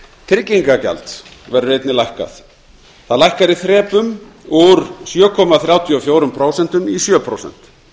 tryggingagjald verður einnig lækkað það lækkar í þrepum úr sjö komma þrjátíu og fjögur prósent í sjö prósent